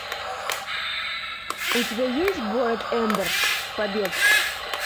у тебя есть город эмбер побег